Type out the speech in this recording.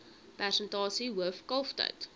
persentasie hoof kalftyd